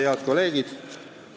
Head kolleegid!